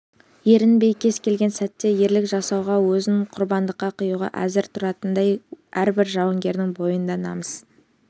ерінбей кез келген сәтте ерлік жасауға өзін құрбандыққа қиюға әзір тұратындай әрбір жауынгердің бойында намыс